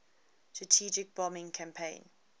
strategic bombing campaign